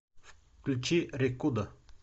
включи рекудо